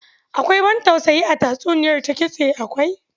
Akwai ban tausayi a tatsuniyar Ta-Kitse akwai.